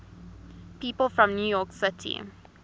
people from new york city